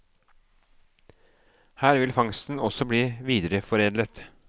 Her vil fangsten også bli videreforedlet.